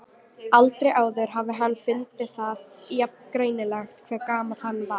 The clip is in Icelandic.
Aldrei áður hafði hann fundið það jafn greinilega hve gamall hann var.